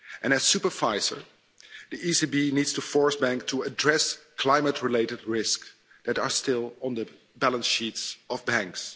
As supervisor, the ECB needs to force banks to address climate-related risks that are still on the balance sheets of banks.